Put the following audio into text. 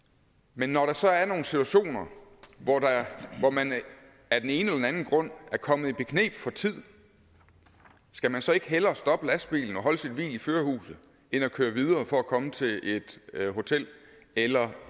men når der så er nogle situationer hvor man af den ene eller anden grund er kommet i bekneb for tid skal man så ikke hellere stoppe lastbilen og holde sit hvil i førerhuset end at køre videre for at komme til et hotel eller